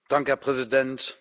Herr Präsident!